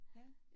Ja